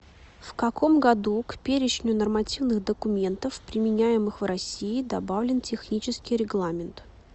в каком году к перечню нормативных документов применяемых в россии добавлен технический регламент